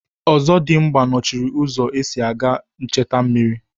Ọzọdimgba nọchiri ụzọ esi aga echta mmiri.